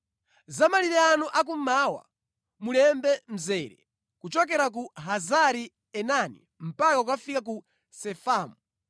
“ ‘Za malire anu a kummawa, mulembe mzere kuchokera ku Hazari-Enani mpaka kukafika ku Sefamu.